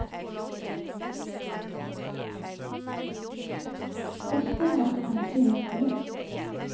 Dette har du kanskje hørt før.